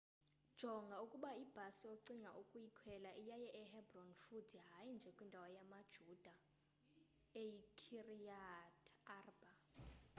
jonga ukuba ibhasi ocinga ukuyikhwela iyaya e-hebron futhi hayi nje kwindawo yamayuda eyi-kiryat arba